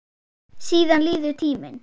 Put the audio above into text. Síðan líður tíminn.